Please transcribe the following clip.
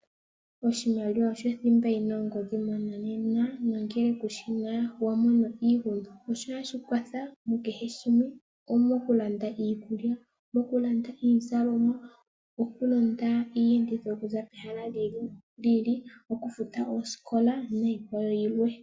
Oshimaliwa osho thimba yi na ongodhi MoNamibia oshoka nongele kushi na, wa mono iihuna. Ohashi kwatha mukehe shimwe. Omokulanda iikulya, omoku landa iizalomwa, omoku londa iiyenditho yoku za pehala lyi ili, omoku futa oosikola niikwawo yilwe.